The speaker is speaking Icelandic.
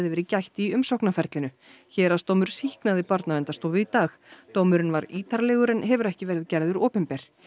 verið gætt í umsóknarferlinu héraðsdómur sýknaði Barnaverndarstofu í dag dómurinn var ítarlegur en hefur ekki verið gerður opinber